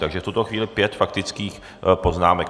Takže v tuto chvíli pět faktických poznámek.